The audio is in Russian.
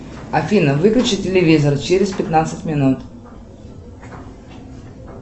афина выключи телевизор через пятнадцать минут